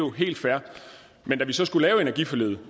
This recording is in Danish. er helt fair men da vi så skulle lave energiforliget